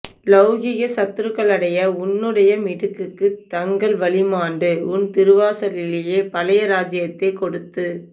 லௌகிக சத்ருக்களடைய உன்னுடைய மிடுக்குக்கு தங்கள் வலி மாண்டு உன் திருவாசலிலே பழைய ராஜ்யத்தைக் கொடுத்து